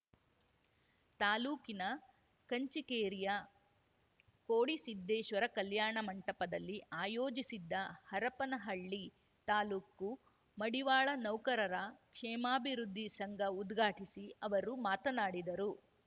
ತಾಲೂಕಿನ ಕಂಚಿಕೇರಿಯ ಕೋಡಿಸಿದ್ದೇಶ್ವರ ಕಲ್ಯಾಣ ಮಂಟಪದಲ್ಲಿ ಆಯೋಜಿಸಿದ್ದ ಹರಪನಹಳ್ಳಿ ತಾಲೂಕು ಮಡಿವಾಳ ನೌಕರರ ಕ್ಷೇಮಾಭಿವೃದ್ಧಿ ಸಂಘ ಉದ್ಘಾಟಿಸಿ ಅವರು ಮಾತನಾಡಿದರು